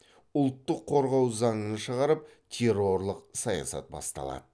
ұлтты қорғау заңын шығарып террорлық саясат басталады